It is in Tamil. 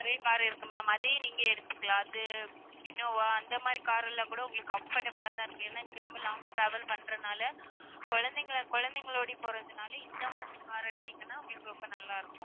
நிறைய car இருக்கு ma'am அதையே நீங்க எடுத்துக்கலாம் அது இனோவா அந்த மாரி car எல்லாம் கூட உங்களுக்கு comfortable ஆ தான் இருக்கும். ஏன்னா நீங்க ரொம்ப long travel பண்றனால குழந்தைகள~ குழந்தைகளோட போறதுனால இந்த மாதிரி car அ எடுத்தீங்கன்னா உங்களுக்கு ரொம்ப நல்லா இருக்கும்